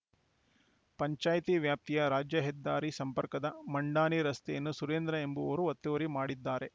ಪಂಚಾಯ್ತಿ ವ್ಯಾಪ್ತಿಯ ರಾಜ್ಯ ಹೆದ್ದಾರಿ ಸಂಪರ್ಕದ ಮಂಡಾನಿ ರಸ್ತೆಯನ್ನು ಸುರೇಂದ್ರ ಎಂಬುವವರು ಒತ್ತುವರಿ ಮಾಡಿದ್ದಾರೆ